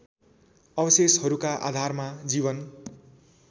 अवशेषहरूका आधारमा जीवन